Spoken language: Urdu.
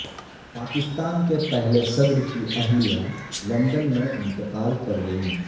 پاکستان کے پہلے صدر کی اہلیہ لندن میں انتقال کرگئیں